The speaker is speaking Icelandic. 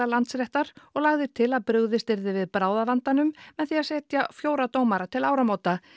Landsréttar og lagði til að brugðist yrði við bráðavandanum með því að setja fjóra dómara til áramóta